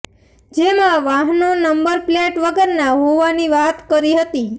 જેમાં વાહનો number plate વગરના હોવાની વાત કરી હતી